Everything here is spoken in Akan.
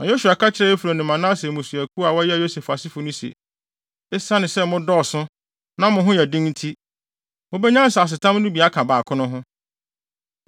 Na Yosua ka kyerɛɛ Efraim ne Manase mmusuakuw a wɔyɛ Yosef asefo no se, “Esiane sɛ mo dɔɔso na mo ho yɛ den nti, mubenya nsasetam no bi aka baako no ho.